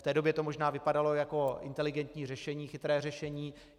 V té době to možná vypadalo jako inteligentní řešení, chytré řešení.